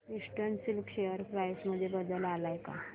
eastern Silk share price मध्ये बदल आलाय का